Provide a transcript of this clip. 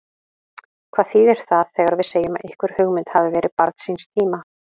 Hvað þýðir það þegar við segjum að einhver hugmynd hafi verið barn síns tíma?